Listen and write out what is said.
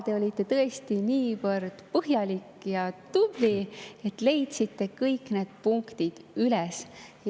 Te olite tõesti niivõrd põhjalik ja tubli, et leidsite kõik need kohad üles.